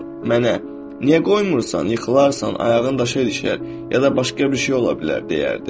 Mənə, niyə qoymursan, yıxılarsan, ayağın daşa ilişər, ya da başqa bir şey ola bilər deyərdi.